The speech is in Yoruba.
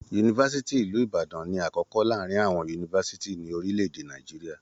Yunifásítì ìlú Ìbàdàn ní akọkọ láàrin àwọn yunifásítì ní orílẹ̀-èdè Nàìjíríà.